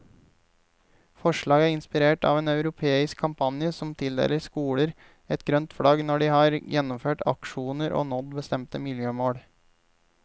Forslaget er inspirert av en europeisk kampanje som tildeler skoler et grønt flagg når de har gjennomført aksjoner og nådd bestemte miljømål.